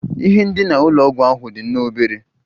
Ihe ndina ụlọ ọgwụ ahụ dị nnọọ obere